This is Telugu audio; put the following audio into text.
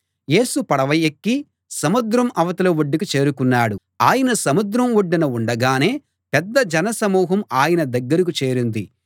యేసు పడవ ఎక్కి సముద్రం అవతలి ఒడ్డుకు చేరుకున్నాడు ఆయన సముద్రం ఒడ్డున ఉండగానే పెద్ద జనసమూహం ఆయన దగ్గర చేరింది